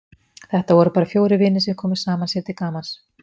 Þetta voru bara fjórir vinir sem komu saman sér til gamans.